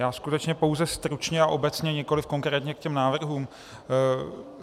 Já skutečně pouze stručně a obecně, nikoliv konkrétně, k těm návrhům.